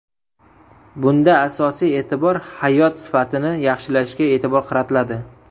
Bunda asosiy e’tibor hayot sifatini yaxshilashga e’tibor qaratiladi.